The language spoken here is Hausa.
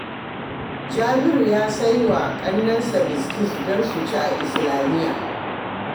Jabiru ya saya wa ƙannensa biskit don su ci a Islamiyya